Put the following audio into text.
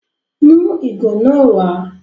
Mú ìgò náà wàá